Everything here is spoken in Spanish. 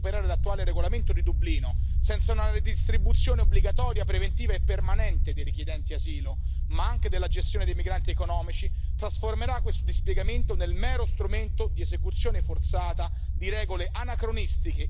Pero el presidente Juncker se ha dolido, además, de la ausencia de vías legales para hacer frente a los flujos migratorios. Y somos muchos los que en este Parlamento venimos trabajando por la apertura de vías legales, visados humanitarios.